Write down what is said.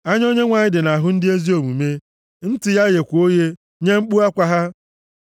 Anya Onyenwe anyị dị nʼahụ ndị ezi omume, ntị ya gheekwa oghe nye mkpu akwa ha;